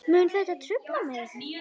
Mun þetta trufla mig?